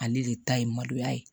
Ale de ta ye maloya ye